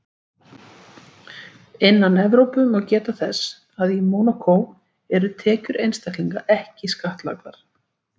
Innan Evrópu má geta þess að í Mónakó eru tekjur einstaklinga ekki skattlagðar.